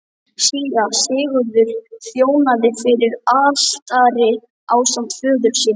Síra Sigurður þjónaði fyrir altari ásamt föður sínum.